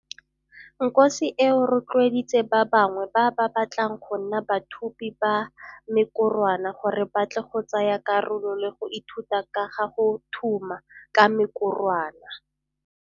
Nkosi eo rotloeditse ba bangwe ba ba batlang go nna bathumi ba mekorwana gore batle go tsaya karolo le go ithuta ka ga go thuma ka mekorwana.